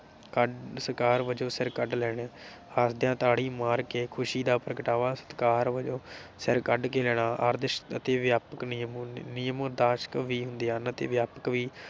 ਕੱਢ ਸਤਿਕਾਰ ਵਜੋਂ ਸਿਰ ਕੱਢ ਲੈਣੇ। ਆਉਂਦਿਆਂ ਤਾੜੀ ਮਾਰ ਕੇ ਖੁਸ਼ੀ ਦਾ ਪ੍ਰਗਟਾਵਾ ਸਤਿਕਾਰ ਵਜੋਂ ਸਿਰ ਕੱਢ ਕੇ ਲੈਣਾ ਆਦਰਸ਼ਕ ਅਤੇ ਵਿਆਪਕ ਨਿਯਮ ਨਿਯਮ ਵੀ ਹੁੰਦੇ ਹਨ ਤੇ ਵਿਆਪਕ ਵੀ